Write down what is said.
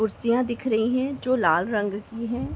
कुर्सियां दिख रही है जो लाल रंग की हैं।